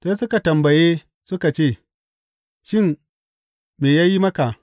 Sai suka tambaye suka ce, Shin, me ya yi maka?